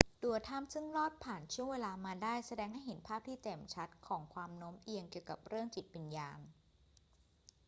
ตัวถ้ำซึ่งรอดผ่านช่วงเวลามาได้ แสดงให้เห็นภาพที่แจ่มชัดของความโน้มเอียงเกี่ยวกับเรื่องจิตวิญญาณ